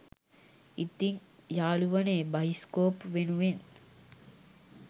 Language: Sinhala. ඉතිං යාලුවනේ බයිස්කෝප් වෙනුවෙන්